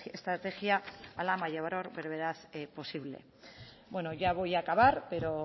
estrategia a la mayor brevedad posible bueno ya voy a acabar pero